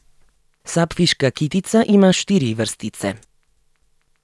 Sapfiška kitica ima štiri vrstice.